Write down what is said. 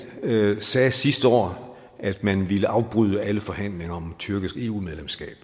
sagde sidste år at man ville afbryde alle forhandlinger om et tyrkisk eu medlemskab